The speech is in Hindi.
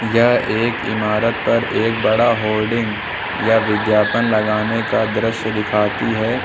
यह एक इमारत पर एक बड़ा होर्डिंग या विज्ञापन लगाने का दृश्य दिखाती है।